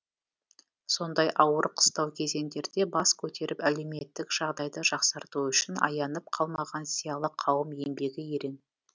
сондай ауыр қыстау кезеңдерде бас көтеріп әлеуметтік жағдайды жақсарту үшін аянып қалмаған зиялы қауым еңбегі ерең